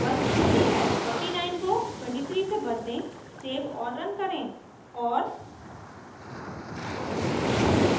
49 को 23 से बदलें सेव और run करें और